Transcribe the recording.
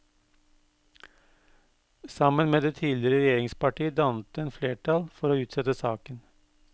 Sammen med det tidligere regjeringsparti dannet den flertall for å utsette saken.